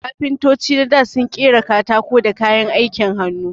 Kafintoci na dā sun ƙera katako da kayan aikin hannu.